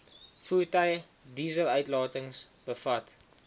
voertuie dieseluitlatings bevat